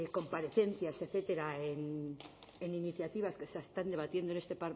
comparecencias etcétera en iniciativas que se están debatiendo en este